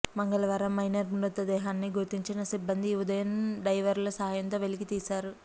మంగళవారం మైనర్ మృతదేహాన్ని గుర్తించిన సిబ్బంది ఈ ఉదయం డైవర్ల సాయంతో వెలికి తీశారు